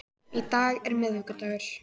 Í dag er miðvikudagur.